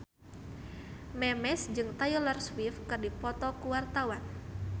Memes jeung Taylor Swift keur dipoto ku wartawan